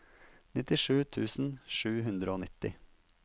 nittisju tusen sju hundre og nitti